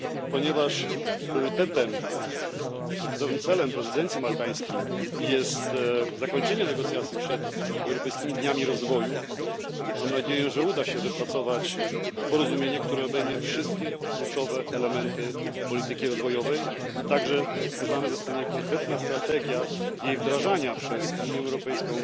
Ponieważ priorytetowym celem prezydencji maltańskiej jest zakończenie negocjacji przed Europejskimi Dniami Rozwoju, mam nadzieję, że uda się wypracować porozumienie, które obejmie wszystkie kluczowe elementy polityki rozwojowej i także wskazana zostanie konkretna strategia jej wdrażania przez Unię Europejską